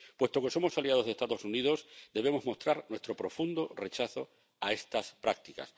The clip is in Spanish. Puesto que somos aliados de los Estados Unidos, debemos mostrar nuestro profundo rechazo a estas prácticas.